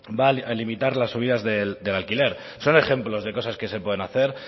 va a limitar las subidas del alquiler son ejemplos de cosas que se pueden hacer